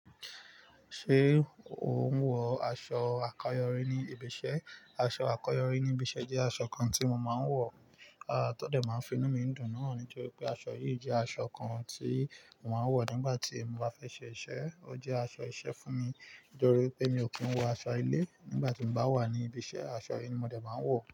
Ṣé o ń wọ aṣọ àkọ́yọrí ní ibi iṣẹ́? Aṣọ àkọ́yọrí ní ibi iṣẹ́ jẹ́ aṣọ kan tí mo máa ń wọ. Tọ́dẹ̀ máa fi inú mi dùn náà nítorí pé aṣọ yìí jẹ́ aṣọ kan tí mo máa ń wọ nígbà tí mo bá fẹ́ ṣe iṣẹ́. Ó jẹ́ aṣọ iṣẹ́ fún mi nítorí pé mi ò kí ń wọ aṣọ ilé. Nígbà tí mo bá wà ní ibi iṣẹ́, aṣọ yìí ni mo dẹ̀ bá ń wọ̀.